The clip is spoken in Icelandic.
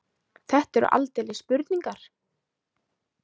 Þetta eru aldeilis spurningar.